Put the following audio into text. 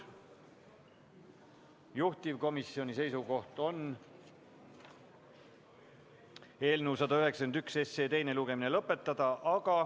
Juhtivkomisjoni seisukoht on eelnõu 191 teine lugemine lõpetada.